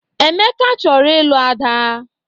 Emeka chọrọ ilu Ada.